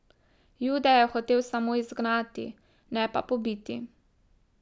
Jude je hotel samo izgnati, ne pa pobiti.